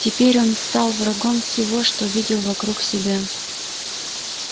теперь он стал врагом всего что видел вокруг себя